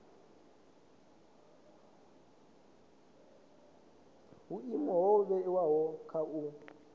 vhuimo ho vhewaho kha u